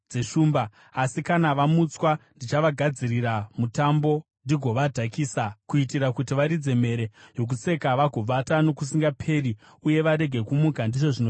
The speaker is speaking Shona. Asi kana vamutswa, ndichavagadzirira mutambo ndigovadhakisa, kuitira kuti varidze mhere yokuseka, vagovata nokusingaperi uye varege kumuka,” ndizvo zvinotaura Jehovha.